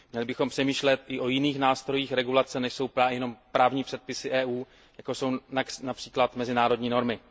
Měli bychom přemýšlet i o jiných nástrojích regulace, než jsou jenom právní předpisy EU, jako jsou například mezinárodní normy.